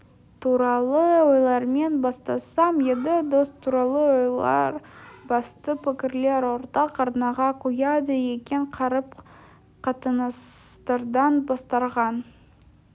туралы ойлармен бастасам едім дос туралы ойлар басты пікірлер ортақ арнаға құяды екен қарым-қатынастардан бастарған